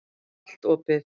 Allt opið.